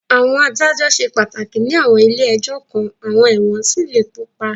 Àwọn adájọ́ ṣe pàtàkì ní àwọn ilé ẹjọ́ kan, àwọn ẹ̀wọ̀n sì lè kópa.